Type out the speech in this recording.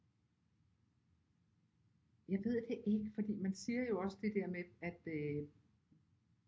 Jeg ved det ikke fordi man siger jo også det der med at øh